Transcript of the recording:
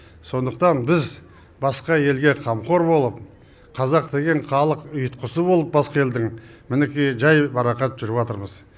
сондықтан біз басқа елге қамқор болып қазақ деген халық ұйытқысы болып басқа елдің мінекей жайбарақат жүріватырмыз